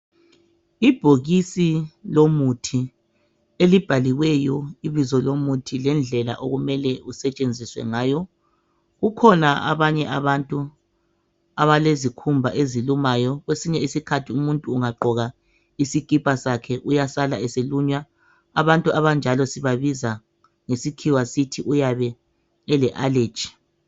Ibhokisi lomuthi elibhaliweyo ibizo lomuthi lendlela okumele kusetshenziswe ngayo. Kukhona abanye abantu abalezikhumba ezilumayo. Kwesinye isikhathi umuntu ungagqoka isikipa sakhe uyasala eselunywa abantu abanjalo sibabiza ngesikhiwa sithi uyabe ele allergy.